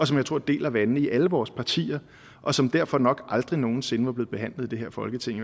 som jeg tror deler vandene i alle vores partier og som derfor nok aldrig nogen sinde var blevet behandlet i det her folketing i